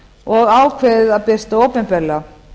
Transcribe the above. og ákveðið að birta opinberlega